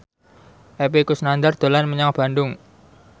Epy Kusnandar dolan menyang Bandung